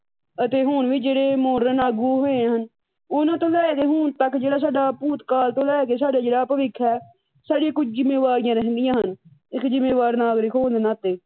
ਅਤੇ ਹੁਣ ਵੀ ਜਿਹੜੇ ਮਾਡਰਨ ਆਗੂ ਹੋਏ ਹਨ ਉਹਨਾਂ ਤੋਂ ਲੈ ਹੁਣ ਤੱਕ ਜਿਹੜਾ ਸਾਡਾ ਭੂਤ ਕਾਲ ਤੋਂ ਲੈ ਕੇ ਜਿਹੜਾ ਸਾਡਾ ਭਵਿੱਖ ਹੈ ਸਾਡੀਆ ਕੁੱਝ ਜਿੰਮੇਵਾਰੀਆਂ ਰਹਿੰਦੀਆਂ ਹਨ ਇੱਕ ਜਿੰਮੇਵਾਰ ਨਾਗਰਿਕ ਹੋਣ ਦੇ ਨਾਤੇ